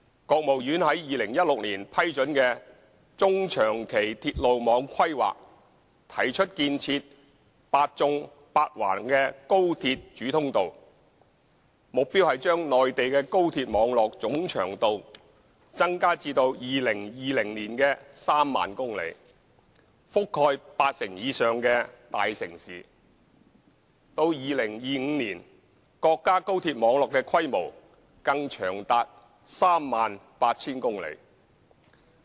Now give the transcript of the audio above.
國務院於2016年批准的《中長期鐵路網規劃》，提出建設"八縱八橫"的高鐵主通道，目標是把內地的高鐵網絡總長度增加至2020年的 30,000 公里，覆蓋八成以上的大城市；到年，國家高鐵網絡規模更長達 38,000 公里。